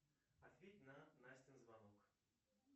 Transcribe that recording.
ответь на настин звонок